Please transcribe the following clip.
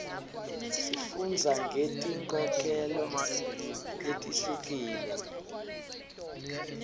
sifundza ngeti nkholelo letihlukile